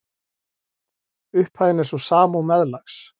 Upphæðin er sú sama og meðlags